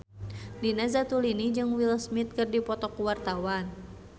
Nina Zatulini jeung Will Smith keur dipoto ku wartawan